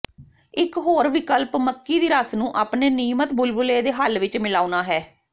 ਇਕ ਹੋਰ ਵਿਕਲਪ ਮੱਕੀ ਦੀ ਰਸ ਨੂੰ ਆਪਣੇ ਨਿਯਮਤ ਬੁਲਬੁਲੇ ਦੇ ਹੱਲ ਵਿਚ ਮਿਲਾਉਣਾ ਹੈ